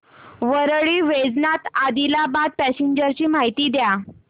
Parli Vaijnath Adilabad passenger ची माहिती द्या